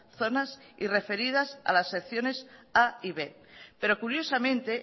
zonas y referidas a las secciones a y b pero curiosamente